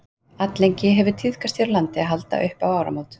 alllengi hefur tíðkast hér á landi að halda upp á áramót